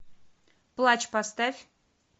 плач поставь